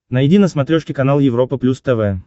найди на смотрешке канал европа плюс тв